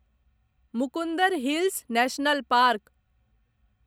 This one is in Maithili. Mukundra Hills National park